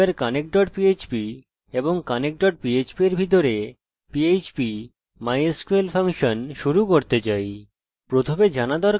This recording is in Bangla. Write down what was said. প্রথমে জানা দরকার যে আমরা connect ভ্যারিয়েবল দিয়ে শুরু করব এবং এটি mysql _connect ফাংশন ব্যবহার করবে